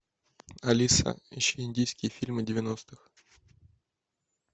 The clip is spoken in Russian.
алиса ищи индийские фильмы девяностых